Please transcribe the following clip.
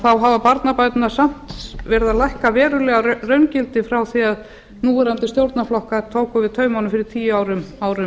þá hafa barnabæturnar samt verið að lækka verulega í raungildi frá því að núverandi stjórnarflokkar tóku við taumunum fyrir tíu árum